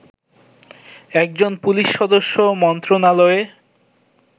একজন পুলিশ সদস্য মন্ত্রণালয়ে